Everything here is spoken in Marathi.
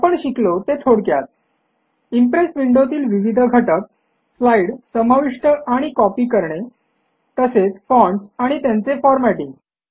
आपण शिकलो ते थोडक्यातः इम्प्रेस विंडोतील विविध घटक स्लाईड समाविष्ट आणि कॉपी करणे तसेच फाँट्स आणि त्यांचे फॉरमॅटिंग